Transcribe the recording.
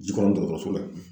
Jikɔrɔnin dɔgɔtɔrɔso la.